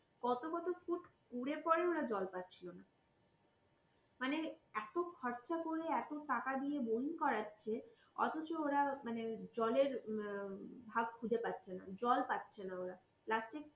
কত কত ফুট ঘুরে পড়ে ওরা জল পাচ্ছিল না। মানে এত খরচা করে এত টাকা দিয়ে boring করাচ্ছে অথচ ওরা মানে জলের ভাগ খুঁজে পাচ্ছে না জল পাচ্ছে না ওরা last এ